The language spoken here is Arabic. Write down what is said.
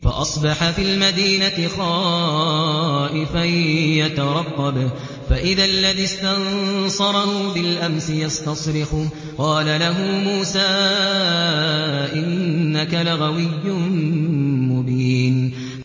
فَأَصْبَحَ فِي الْمَدِينَةِ خَائِفًا يَتَرَقَّبُ فَإِذَا الَّذِي اسْتَنصَرَهُ بِالْأَمْسِ يَسْتَصْرِخُهُ ۚ قَالَ لَهُ مُوسَىٰ إِنَّكَ لَغَوِيٌّ مُّبِينٌ